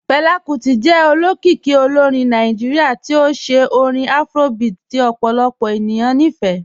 Fẹla Kuti jẹ òlókìíkì òlórìn Nàìjíríà tí ó ṣẹ̀ orin Afrobeat tí ọ̀pọ̀lọpọ̀ ènìyàn ní fẹ́.